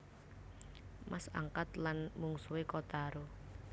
Mas angkat lan mungsuhé Kotaro